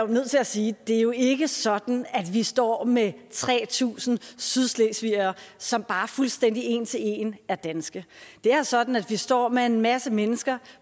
nødt til at sige at det jo ikke er sådan at vi står med tre tusind sydslesvigere som fuldstændig en til en er danske det er sådan at vi står med en masse mennesker